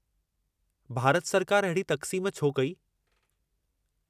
भारत सरकार अहिड़ी तक़्सीमु छो कई?